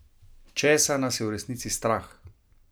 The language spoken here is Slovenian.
Česa nas je v resnici strah?